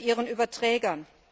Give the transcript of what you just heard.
vor ihren Überträgern.